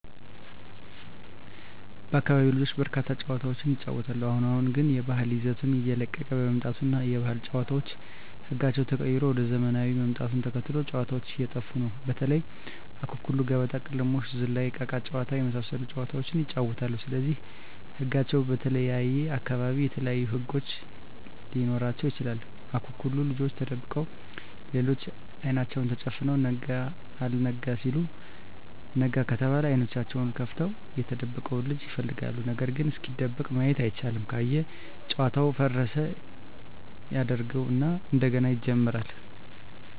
በአካቢው ልጆች በርካታ ጨዋታዎችን ይጫወታሉ አሁን አሁን ግን የባህል ይዘቱን እየለቀቀ በመምጣቱ እና የባህል ጨዋታዎች ህጋቸው ተቀይሮ ወደ ዘመናውያን ምጣቱን ተከትሎ ጨዎታዎች እየጠፉ ነው በተለይ:- አኩኩሉ ገበጣ: ቅልሞሽ ዝላይ እቃቃ ጨዎታ የመሣሠሉት ጨዋታዎች ይጫወታሉ ስለዚህ ህጋቸው በተለየየ አካባቢ የተለያዩ ህግ ሊኖራቸው ይችላል አኩኩሉ ልጆች ተደብቀው ሌሎች አይናቸውን ተጨፍነው ነጋ አልጋ ሲሉ ነጋ ከተባለ አይኔናቸውን ከፍተው የተደበቀውን ልጅ ይፈልጋሉ ነገርግ እስኪደበቅ ማየት አይቻልም ካየ ጨዋታውን ፉረሽ ያጀርገው እና እንደገና ይጀምራሉ።